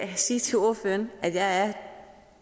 vil sige til ordføreren at jeg er